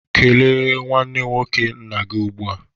Kele nwanne nwoke nna gị ugbu a!